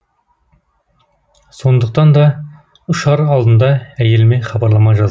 сондықтан да ұшар алдында әйеліме хабарлама жаздым